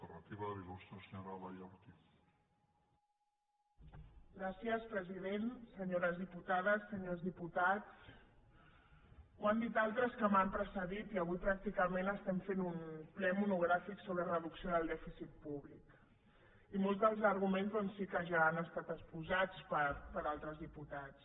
senyores diputades senyors diputats ho han dit altres que m’han precedit i avui pràcticament estem fent un ple monogràfic sobre reducció del dèficit públic i molts dels arguments doncs sí que ja han estat exposats per altres diputats